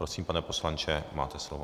Prosím, pane poslanče, máte slovo.